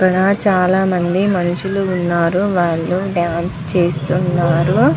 ఇక్కడ చాల మంది మనషులు ఉన్నారు. వాళ్ళు డాన్స్ చేస్తున్నారు.